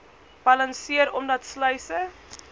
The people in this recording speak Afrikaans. balanseer omdat sluise